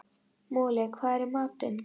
Moli, hvað er í matinn?